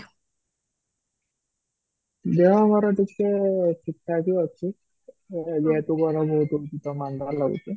ଯାହା ମୋର ଟିକେ ଠିକ ଠକ ହି ଅଛି, ତ ଯେହେତୁ ମୋର ଯେହେତୁ ମୋର ରହିଛି